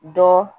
Dɔ